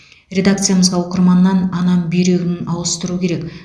редакциямызға оқырманнан анам бүйрегін ауыстыру керек